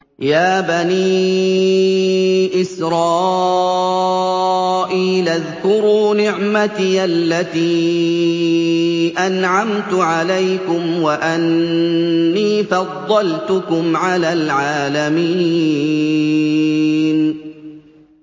يَا بَنِي إِسْرَائِيلَ اذْكُرُوا نِعْمَتِيَ الَّتِي أَنْعَمْتُ عَلَيْكُمْ وَأَنِّي فَضَّلْتُكُمْ عَلَى الْعَالَمِينَ